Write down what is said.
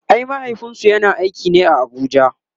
ai mahaifinsu yana aiki ne a Abuja